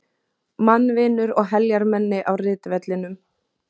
Mannvinur og heljarmenni á ritvellinum.